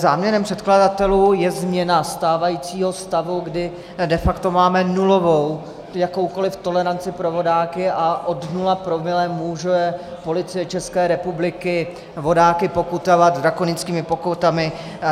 Záměrem předkladatelů je změna stávajícího stavu, kdy de facto máme nulovou jakoukoli toleranci pro vodáky a od nula promile může Policie České republiky vodáky pokutovat drakonickými pokutami.